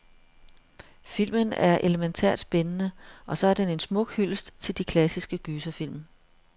Filmen er elemæntært spændende, og så er den en smuk hyldest til de klassiske gyserfilm.